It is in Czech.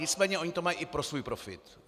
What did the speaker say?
Nicméně oni to mají i pro svůj profit.